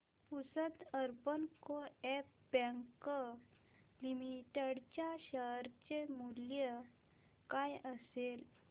Pusad urban co-op bank limited च्या share चे मूल्य काय असेल